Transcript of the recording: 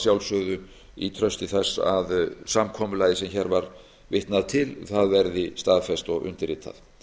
sjálfsögðu í trausti þess að samkomulagið sem hér var vitnað til verði staðfest og undirritað